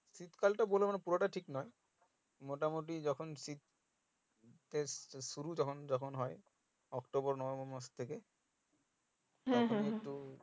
শীত কালটা বলে মানে পুরোটাই ঠিক নোই মোটামোটি যখন শীত এর শুরু শুরু যখন হয় October, November মাস থেকে